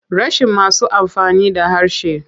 Rashin masu amfani da harshen.